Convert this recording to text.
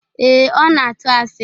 Ee, Ọ na-atu asị